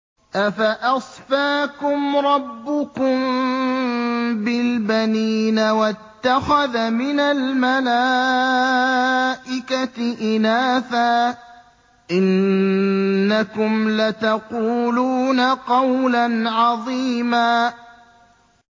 أَفَأَصْفَاكُمْ رَبُّكُم بِالْبَنِينَ وَاتَّخَذَ مِنَ الْمَلَائِكَةِ إِنَاثًا ۚ إِنَّكُمْ لَتَقُولُونَ قَوْلًا عَظِيمًا